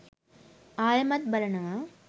ආයෙමත් බලනවා